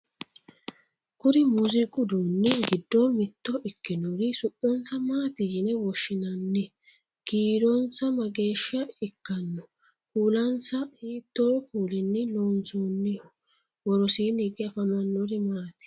kuri muziiqu uduunni giddo mitto ikkinori su'mansa maati yine woshshinani? kiironsa mageeshsha ikkanno? kuulansa hiitto kuulinni loonsoonniho? worosiinni hige afamannori maati?